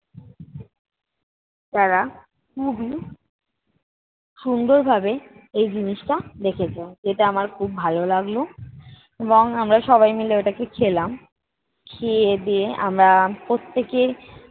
তারা খুবই সুন্দর ভাবে এই জিনিসটা দেখেছে, এটা আমার খুব ভালো লাগলো এবং আমরা সবাই মিল ওটাকে খেলাম। খেয়ে-দেয়ে আমরা প্রত্যেকে